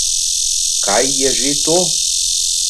Kaj je že to?